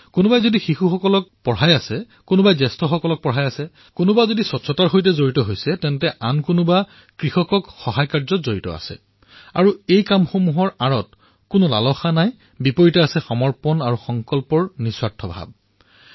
কোনোবাই শিশুক পঢ়ুৱাই আছে কোনোবাই প্ৰাপ্ত বয়স্কক পঢ়ুৱই আছে কোনোবা স্বচ্ছতা কৰ্মৰ সৈতে জড়িত কোনোবাই কৃষকক সহায় কৰি আছে আৰু ইয়াৰ অন্তৰালত কোনো লালসা নাই ইয়াৰ পৰিৱৰ্তে ইয়াত সমৰ্পণ আৰু সংকল্পৰ এক নিঃস্বাৰ্থ ভাব আছে